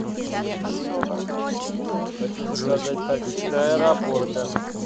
хочу заказать такси до аэропорта